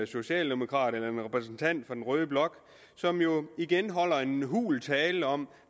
socialdemokrat eller en repræsentant for den røde blok igen holde en hul tale om